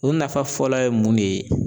O nafa fɔlɔ ye mun ne ye